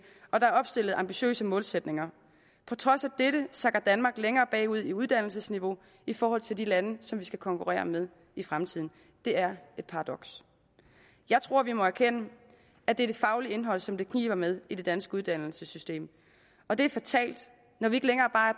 og der er opstillet ambitiøse målsætninger på trods af dette sakker danmark længere bagud i uddannelsesniveau i forhold til de lande som vi skal konkurrere med i fremtiden det er et paradoks jeg tror vi må erkende at det er det faglige indhold som det kniber med i det danske uddannelsessystem og det er fatalt når vi ikke længere bare